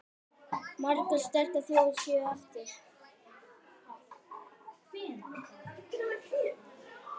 Margar sterkar þjóðir séu eftir.